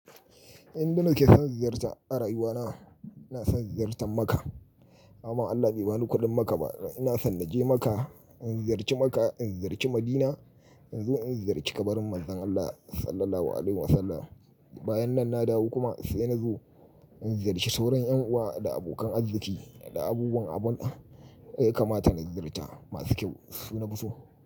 Inda nake son ziyarta a rayuwana, ina son ziyartar Makkah. Amma Allah bai bani kuɗin Makkah ba. Ina so na je Makkah, in ziyarci Makkah, in ziyarci Madina, in zo in ziyarci kabarin Manzon Allah Sallallahu Alaihi Wasallam. Bayan nan na dawo kuma sai na zo in ziyarci sauran ƴan uwa da abokan arziki da abubuwan abun da yaka mata na ziyarta masu kyau suna fu so.